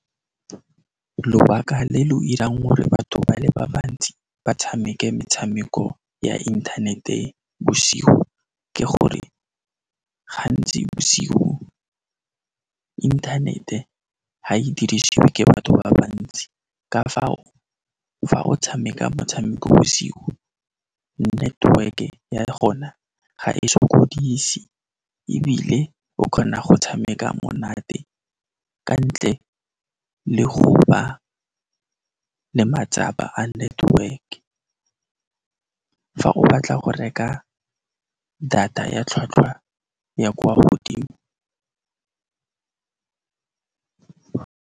Lobaka le lo irang gore batho ba le ba bantsi ba tshameke metshameko ya inthanete bosigo, ke gore gantsi bosigo inthanete ga e dirisiwe ke batho ba bantsi ka fao, fa o tshameka motshameko bosiu, network-e ya gona ga e sokodise ebile o kgona go tshameka monate ka ntle le go ba le matsapa a network. Fa o batla go reka data ya tlhwatlhwa ya kwa godimo.